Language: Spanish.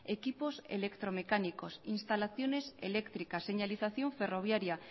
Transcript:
equipos electromecánicos instalaciones eléctricas señalización ferroviaria